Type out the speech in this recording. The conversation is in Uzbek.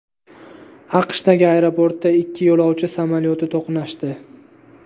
AQShdagi aeroportda ikki yo‘lovchi samolyoti to‘qnashdi.